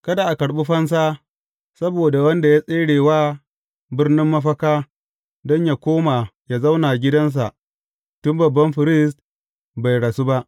Kada a karɓi fansa saboda wanda ya tsere zuwa birnin mafaka don yă koma yă zauna gidansa tun babban firist bai rasu ba.